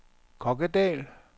Kokkedal